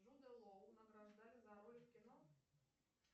джудо лоу награждали за роль в кино